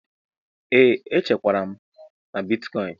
Ee, echekwara m na bịtịkoin.